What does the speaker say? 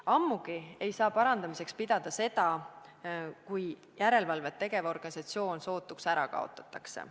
Ammugi ei saa parandamiseks pidada seda, kui järelevalvet tegev organisatsioon sootuks ära kaotatakse.